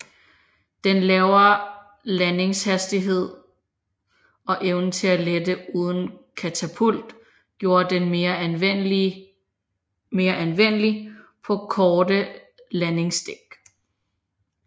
Den lavere landingshastighed og evnen til at lette uden katapult gjorde den mere anvendelig på korte landingsdæk